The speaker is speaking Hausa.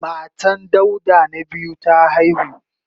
Matan Dauda na biyu ta haihu.